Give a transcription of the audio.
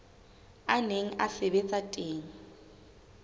a neng a sebetsa teng